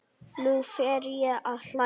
Nú fer ég að hlæja.